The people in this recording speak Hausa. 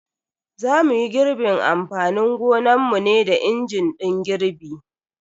Za muyi girbin amfanin gonanmu ne da injin din girbi.